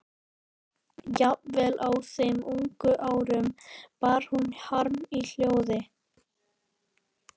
Jafnvel á þeim ungu árum bar hún harm í hljóði.